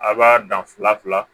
A b'a dan fila fila